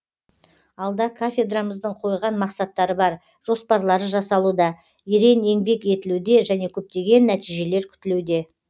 алда кафедрамыздың қойған мақсаттары бар жоспарлары жасалуда ерең еңбек етілуде және көптеген нәтижелер күтілуде